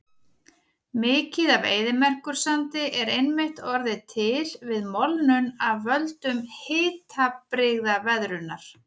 Mikið af eyðimerkursandi er einmitt orðið til við molnun af völdum hitabrigðaveðrunar.